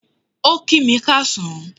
O ki mi káasán